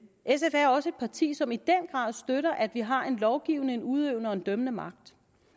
er også et parti som i den grad støtter at vi har en lovgivende en udøvende og en dømmende magt